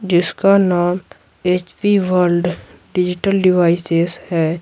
जिसका नाम H P world digital devices है।